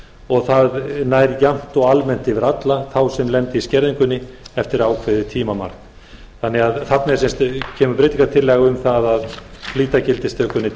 og það nær jafnt og almennt yfir alla þá sem lenda í skerðingunni eftir ákveðið tímamark þarna er sem sagt breytingartillaga um að flýta gildistökunni til